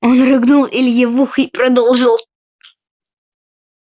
он рыгнул илье в ухо и продолжил